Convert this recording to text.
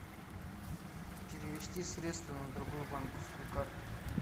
перевести средства на другую банковскую карту